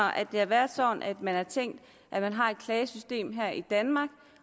at det har været sådan at man har tænkt at man har et klagesystem her i danmark